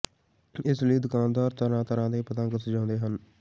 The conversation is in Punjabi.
ਇਸ ਲਈ ਦੁਕਾਨਦਾਰ ਤਰ੍ਹਾਂ ਤਰ੍ਹਾਂ ਦੇ ਪਤੰਗ ਸਜਾਉਂਦੇ ਹਨ